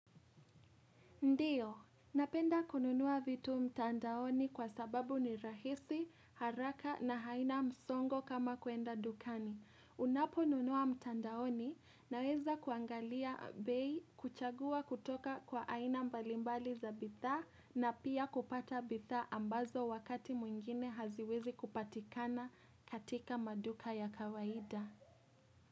Ndiyo, napenda kununua vitu mtandaoni kwa sababu ni rahisi, haraka na haina msongo kama kuenda dukani. Unapo nunua mtandaoni naweza kuangalia bei kuchagua kutoka kwa haina mbalimbali za bidhaa na pia kupata bidhaa ambazo wakati mwingine haziwezi kupatikana katika maduka ya kawaida.